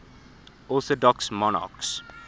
orthodox monarchs